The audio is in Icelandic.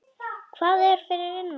Hvað er fyrir innan?